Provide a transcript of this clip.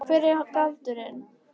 Hver er galdurinn?